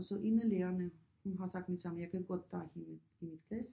Og så en af lærerne hun har sagt med det samme jeg kan godt tage hende i mit klasse